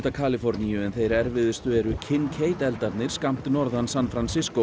Kaliforníu en þeir erfiðustu eru eldarnir skammt norðan San